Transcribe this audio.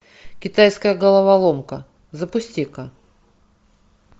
китайская головоломка запусти ка